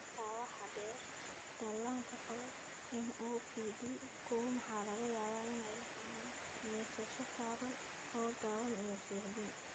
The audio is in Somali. Intaa waxaa dheer, dhallaanka qaba MOPD koow waxaa laga yaabaa inay la kulmaan neefsasho gaaban oo gaaban (apnea) iyo suuxdin.